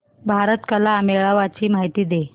भारत कला मेळावा ची माहिती दे